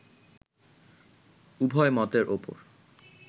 উভয় মতের উপর